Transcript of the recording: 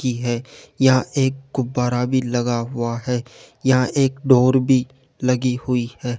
की है यह एक गुब्बारा भी लगा हुआ है यहां एक डोर भी लगी हुई है।